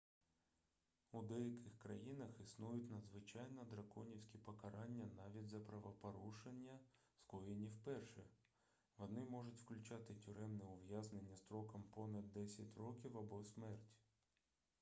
у деяких країнах існують надзвичайно драконівські покарання навіть за правопорушення скоєні вперше вони можуть включати тюремне ув'язнення строком понад 10 років або смерть